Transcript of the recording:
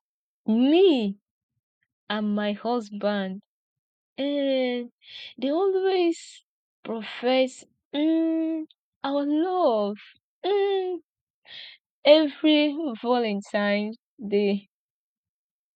me and my husband um dey always profess um our love um every valantines day